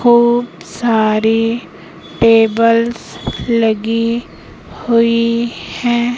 खूब सारी टेबल्स लगी हुई हैं।